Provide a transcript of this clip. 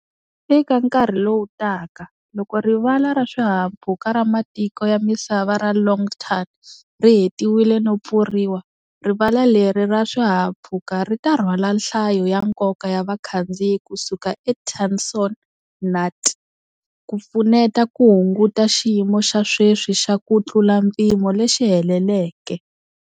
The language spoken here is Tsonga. Eka nkarhi lowu taka, loko Rivala ra Swihahampfhuka ra Matiko ya Misava ra Long Thanh ri hetiwile no pfuriwa, rivala leri ra swihahampfhuka ri ta rhwala nhlayo ya nkoka ya vakhandziyi ku suka eTan Son Nhat, ku pfuneta ku hunguta xiyimo xa sweswi xa ku tlula mpimo lexi heleleke.